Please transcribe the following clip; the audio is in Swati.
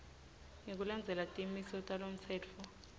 ngekulandzela timiso talomtsetfo